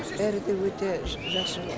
бәрі де өте жақсы